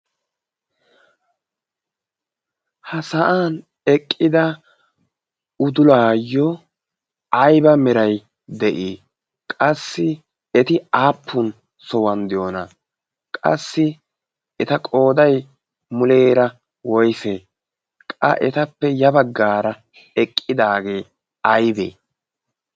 Ha sa'an eqqida udulayo ayba meray de'i? Qassi eti aappun sohuwan de'iyona? Qassi eta qoday muleera woyse? Qa etappe ya bagara eqqidage aybe?